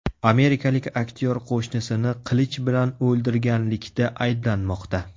Amerikalik aktyor qo‘shnisini qilich bilan o‘ldirganlikda ayblanmoqda.